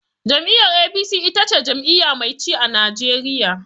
Jam'iyyar APC ita ce jam'iyya mai ci a Najeriya.